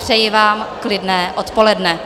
Přeji vám klidné odpoledne.